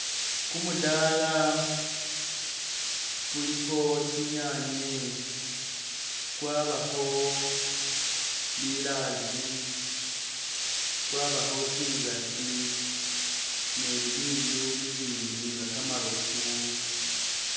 Gumudala gulikho tsinyanye gwabakho bilaazi gwabakho tsinzagi ni bibindu bibindi nga gamarofu